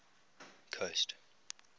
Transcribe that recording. coast